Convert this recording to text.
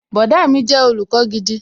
Bọ̀dá mi jẹ́ olùkọ́ gidi